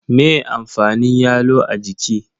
Me amfanin yalo a jiki?